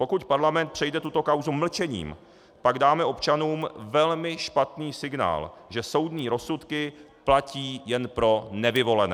Pokud parlament přejde tuto kauzu mlčením, pak dáme občanům velmi špatný signál, že soudní rozsudky platí jen pro nevyvolené.